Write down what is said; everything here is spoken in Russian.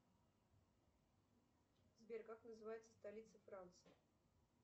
сбер как называется столица франции